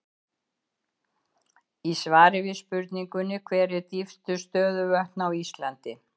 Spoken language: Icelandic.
Í svari við spurningunni Hver eru dýpstu stöðuvötn á Íslandi?